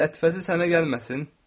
Lətifəsi sənə gəlməsin.